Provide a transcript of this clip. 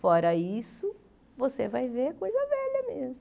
Fora isso, você vai ver coisa velha mesmo.